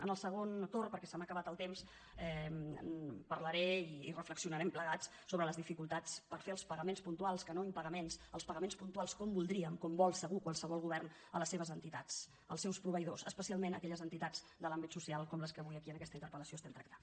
en el segon torn perquè se m’ha acabat el temps parlaré i reflexionarem plegats sobre les dificultats per fer els pagaments puntuals que no impagaments els pagaments puntuals com voldríem com vol segur qualsevol govern a les seves entitats als seus proveïdors especialment a aquelles entitats de l’àmbit social com les que avui aquí en aquesta interpel·lació estem tractant